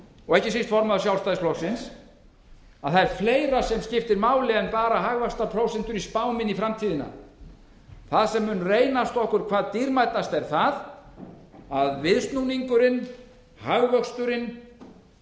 og ekki síst formaður sjálfstæðisflokksins að fleira skiptir máli en bara hagvaxtarprósentur í spám inn í framtíðina það sem mun reynast okkur hvað dýrmætast er að viðsnúningurinn hagvöxturinn